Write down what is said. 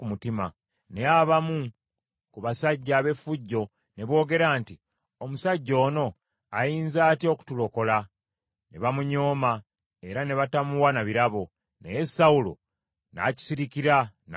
Naye abamu ku basajja ab’effujjo ne boogera nti, “Omusajja ono ayinza atya okutulokola?” Ne bamunyooma, era ne batamuwa na birabo. Naye Sawulo n’akisirikira n’atabanyega.